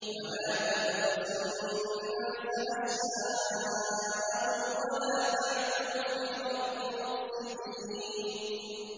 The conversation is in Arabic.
وَلَا تَبْخَسُوا النَّاسَ أَشْيَاءَهُمْ وَلَا تَعْثَوْا فِي الْأَرْضِ مُفْسِدِينَ